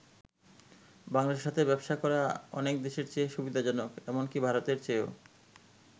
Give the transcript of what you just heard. বাংলাদেশের সাথে ব্যবসা করা অনেকে দেশের চেয়ে সুবিধাজনক, এমনকি ভারতের চেয়েও।